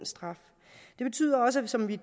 straffen det betyder også som vi